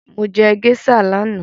Mo jẹ géíṣà lánàá